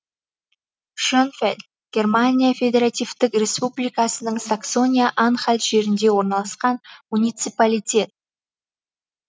шенфельд германия федеративтік республикасының саксония анхальт жерінде орналасқан муниципалитет